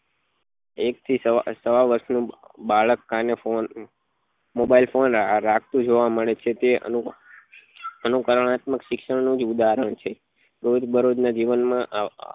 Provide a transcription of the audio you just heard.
એક થી સવા સવા વર્ષ નું બાળક કાને phone mobile phone રાખતું જોવા મળે છે તે નું તેનું અનુકારુનાત્મક શિક્ષણ નું જ ઉદાહરણ છે રોજ બરોજ નાં જીવન માં